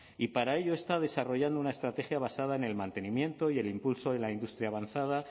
y para ello está desarrollando una estrategia basada en el mantenimiento y el impulso de la industria avanzada